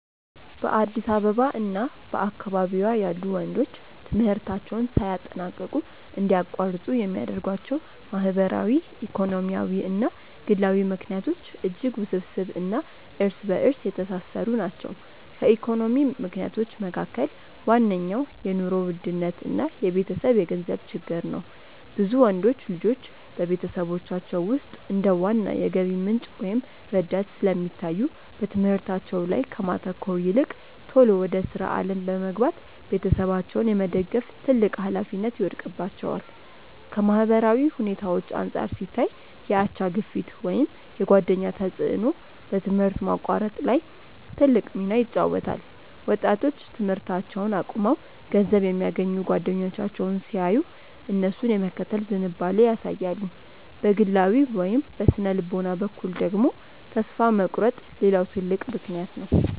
በአዲስ አበባ እና በአካባቢዋ ያሉ ወንዶች ትምህርታቸውን ሳያጠናቅቁ እንዲያቋርጡ የሚያደርጓቸው ማህበራዊ፣ ኢኮኖሚያዊ እና ግላዊ ምክንያቶች እጅግ ውስብስብ እና እርስ በእርስ የተሳሰሩ ናቸው። ከኢኮኖሚ ምክንያቶች መካከል ዋነኛው የኑሮ ውድነት እና የቤተሰብ የገንዘብ ችግር ነው። ብዙ ወንዶች ልጆች በቤተሰቦቻቸው ውስጥ እንደ ዋና የገቢ ምንጭ ወይም ረዳት ስለሚታዩ፣ በትምህርታቸው ላይ ከማተኮር ይልቅ ቶሎ ወደ ሥራ ዓለም በመግባት ቤተሰባቸውን የመደገፍ ትልቅ ኃላፊነት ይወድቅባቸዋል። ከማህበራዊ ሁኔታዎች አንጻር ሲታይ፣ የአቻ ግፊት ወይም የጓደኛ ተጽዕኖ በትምህርት ማቋረጥ ላይ ትልቅ ሚና ይጫወታል። ወጣቶች ትምህርታቸውን አቁመው ገንዘብ የሚያገኙ ጓደኞቻቸውን ሲያዩ፣ እነሱን የመከተል ዝንባሌ ያሳያሉ። በግላዊ ወይም በሥነ-ልቦና በኩል ደግሞ፣ ተስፋ መቁረጥ ሌላው ትልቅ ምክንያት ነው።